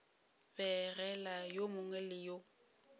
begela yo mongwe le yo